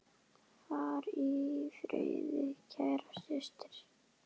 Far í friði, kæra systir.